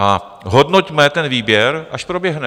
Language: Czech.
A hodnoťme ten výběr, až proběhne.